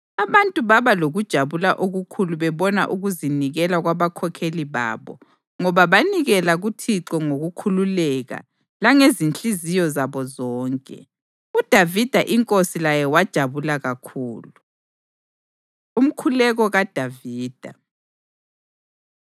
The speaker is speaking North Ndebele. Abantu baba lokujabula okukhulu bebona ukuzinikela kwabakhokheli babo, ngoba banikela kuThixo ngokukhululeka langezinhliziyo zabo zonke. UDavida inkosi laye wajabula kakhulu. Umkhuleko KaDavida